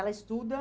Ela estuda?